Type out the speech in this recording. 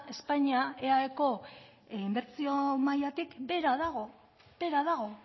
espainian eaeko inbertsio mailatik behera dago behera dago